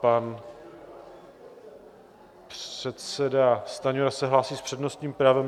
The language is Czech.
Pan předseda Stanjura se hlásí s přednostním právem.